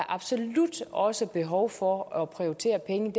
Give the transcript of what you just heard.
absolut også er behov for at prioritere pengene